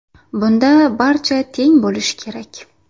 Bunda barcha teng bo‘lishi kerak.